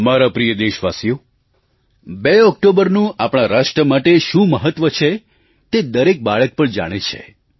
મારા પ્રિય દેશવાસીઓ 2 ઑક્ટોબરનું આપણા રાષ્ટ્ર માટે શું મહત્વ છે તે દરેક બાળક પણ જાણે છે